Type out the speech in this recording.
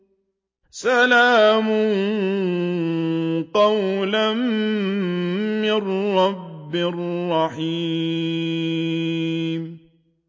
سَلَامٌ قَوْلًا مِّن رَّبٍّ رَّحِيمٍ